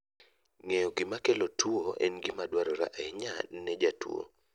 Ng'eyo gima kelo tuwo en gima dwarore ahinya ne jatuwo